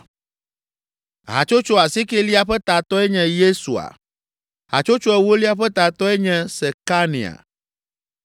Hatsotso asiekelia ƒe tatɔe nye Yesua. Hatsotso ewolia ƒe tatɔe nye Sekania.